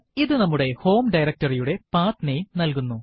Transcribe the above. ഇത് നമ്മുടെ home directory യുടെ path നാമെ നൽകുന്നു